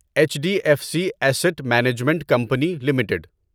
H D F C asset management company limited